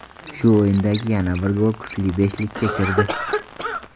Shu o‘yindagi yana bir gol kuchli beshlikka kirdi.